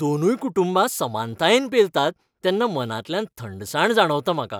दोनूय कुटुंबां समानतायेन पेलतात तेन्ना मनांतल्यान थंडसाण जाणवता म्हाका.